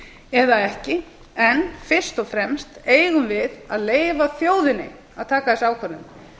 eða ekki en fyrst og fremst eigum við að leyfa þjóðinni að taka þessa ákvörðun